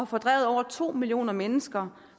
fordrevet over to millioner mennesker